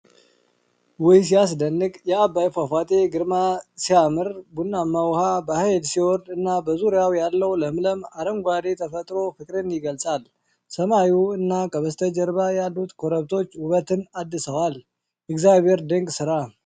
ውይ! ሲያስደንቅ! የዓባይ ፏፏቴ ግርማ ሲያምር! ቡናማ ውኃው በኃይል ሲወርድ እና በዙሪያው ያለው ለምለም አረንጓዴ ተፈጥሮ ፍቅርን ይገልጻል። ሰማዩ እና ከበስተጀርባ ያሉት ኮረብቶች ውበትን አድሰዋል። የእግዚአብሔር ድንቅ ሥራ!